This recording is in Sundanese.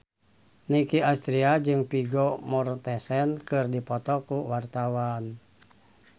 Nicky Astria jeung Vigo Mortensen keur dipoto ku wartawan